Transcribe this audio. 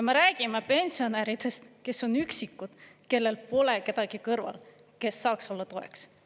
Me räägime pensionäridest, kes on üksikud, kellel pole kedagi kõrval, kes saaks olla toeks.